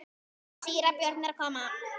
Síra Björn er að koma!